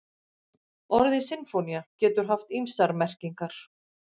Orðið sinfónía getur haft ýmsar merkingar.